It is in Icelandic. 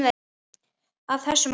Af þessu mátti læra.